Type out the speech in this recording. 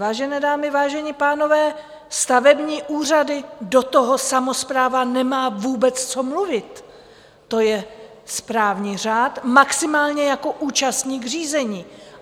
Vážené dámy, vážení pánové, stavební úřady, do toho samospráva nemá vůbec co mluvit, to je správní řád - maximálně jako účastník řízení.